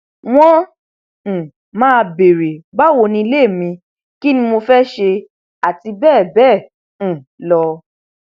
wọn um máa béèrè báwo nílé mi kín ni mo fẹẹ ṣe àti bẹẹ bẹẹ um lọ